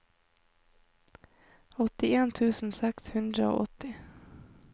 åttien tusen seks hundre og åtti